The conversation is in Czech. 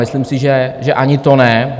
Myslím si, že ani to ne.